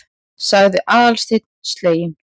sagði Aðalsteinn sleginn.